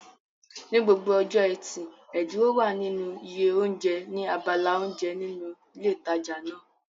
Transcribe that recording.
Ní gbogbo ọjọ́ ẹtì, ẹ̀dínwó wà nínú iye oúnjẹ ní abala oúnjẹ nínú ilé ìtajà náà